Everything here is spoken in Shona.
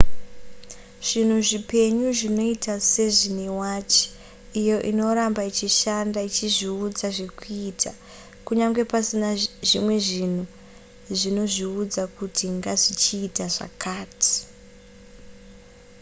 zvinhu zvipenyu zvinoita sezvine wachi iyo inoramba ichishanda ichizviudza zvekuita kunyange pasina zvimwe zvinhu zvinozviudza kuti ngazvichiita zvakati